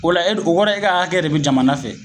O la e dun o kɔrɔ e ka akɛ de be jamana fɛ